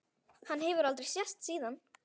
Hann hefur aldrei sést síðan.